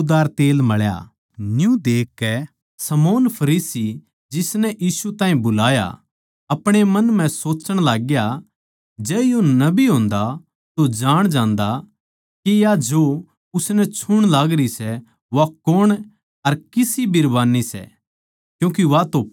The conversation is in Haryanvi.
न्यू देखकै शमौन फरीसी जिसनै यीशु ताहीं बुलाया था अपणे मन म्ह सोच्चण लागग्या जै यो नबी होन्दा तो जाण जांदा के या जो उसनै छूण लागरी सै वा कौण अर किसी बिरबान्नी सै क्यूँके वा तो पापण सै